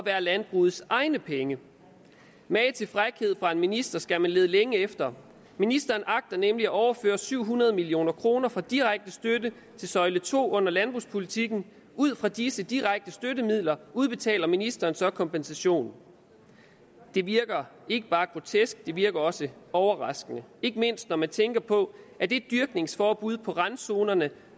er landbrugets egne penge mage til frækhed fra en minister skal man lede længe efter ministeren agter nemlig at overføre syv hundrede million kroner fra direkte støtte til søjle to under landbrugspolitikken ud fra disse direkte støttemidler udbetaler ministeren så kompensation det virker ikke bare grotesk det virker også overraskende ikke mindst når man tænker på at det dyrkningsforbud på randzonerne